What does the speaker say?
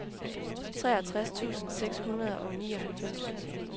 treogtres tusind seks hundrede og nioghalvfems